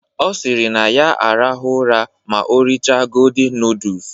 Ọ sịrị na ya arahụ ụra ma o richa godin nudus